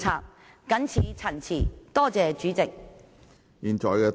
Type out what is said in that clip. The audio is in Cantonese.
我謹此陳辭，多謝主席。